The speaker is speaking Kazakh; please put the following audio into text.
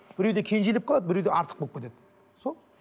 біреуде кенжелеп қалады біреуде артық болып кетеді сол